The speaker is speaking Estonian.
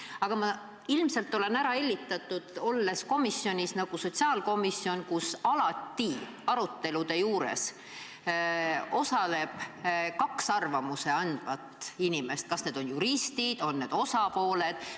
Aga ma ilmselt olen ära hellitatud, kuuludes sellisesse komisjoni nagu sotsiaalkomisjon, kus aruteludes osaleb alati kaks arvamust andvat inimest – on need juristid, on need osapooled.